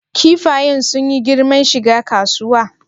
Kifayen sun yi girman shiga kasuwa?